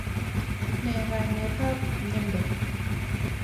nee kainet ap miando?